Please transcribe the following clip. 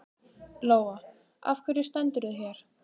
Lóa: Af hverju stendurðu hér?